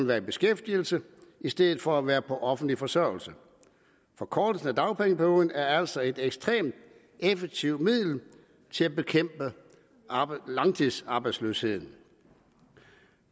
være i beskæftigelse i stedet for at være på offentlig forsørgelse forkortelsen af dagpengeperioden er altså et ekstremt effektivt middel til at bekæmpe langtidsarbejdsløsheden